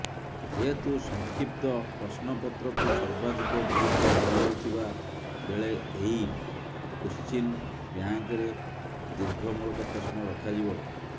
ଯେହେତୁ ସଂକ୍ଷିପ୍ତ ପ୍ରଶ୍ନପତ୍ରକୁ ସର୍ବାଧିକ ଗୁରୁତ୍ୱ ଦିଆଯାଉଥିବା ବେଳେ ଏହି କୋଶ୍ଚିନ୍ ବ୍ୟାଙ୍କ୍ରେ ଦୀର୍ଘ ମୂଳକ ପ୍ରଶ୍ନ ରଖାଯିବ